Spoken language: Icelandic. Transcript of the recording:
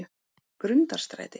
Grundarstræti